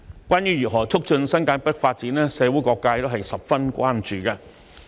關於如何促進新界北發展，社會各界都十分關注。